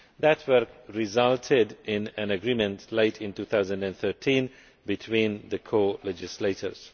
That work resulted in an agreement late in 2013 between the co legislators.